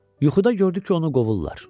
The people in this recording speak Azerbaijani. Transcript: Yuxuda gördü ki, onu qovurlar.